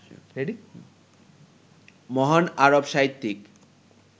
মহান আরব সাহিত্যিক